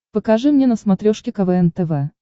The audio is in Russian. покажи мне на смотрешке квн тв